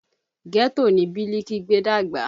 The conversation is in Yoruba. Ghetto ni Biliki gbé dàgbà